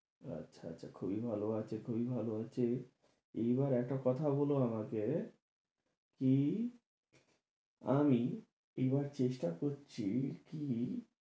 আচ্ছা, আচ্ছা, খুবই ভালো আছে, খুবই ভালো আছি, এইবার একটা কথা বলো আমাকে কি আমি এবার চেষ্টা করছি কি?